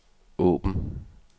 åbn